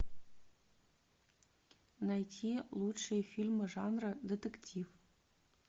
найти лучшие фильмы жанра детектив